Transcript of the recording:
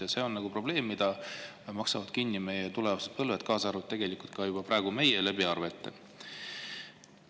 Ja see on probleem, mille maksavad kinni meie tulevased põlved, tegelikult juba ka meie, arvete kaudu.